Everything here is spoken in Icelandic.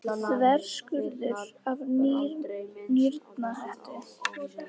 Þverskurður af nýrnahettu.